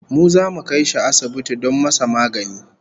Mu zamu kai shi asibiti don masa magani